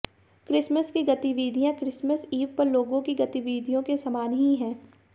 Christmas की गतिविधियां Christmas eve पर लोगों की गतिविधियों के समान ही हैं